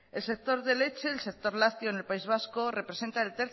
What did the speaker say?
el sector de leche el sector lácteo en el país vasco representa